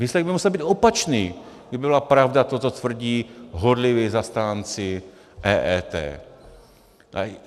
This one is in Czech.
Výsledek by musel být opačný, kdyby byla pravda to, co tvrdí horliví zastánci EET.